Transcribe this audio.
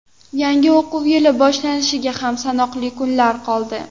Yangi o‘quv yili boshlanishiga ham sanoqli kunlar qoldi.